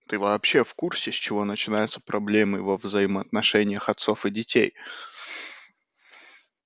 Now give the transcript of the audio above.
ты вообще в курсе с чего начинаются проблемы во взаимоотношениях отцов и детей